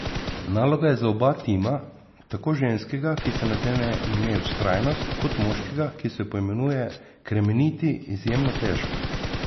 Naloga je za oba tima, tako ženskega, ki si nadene ime Vztrajnost, kot moškega, ki se poimenuje Kremeniti, izjemno težka.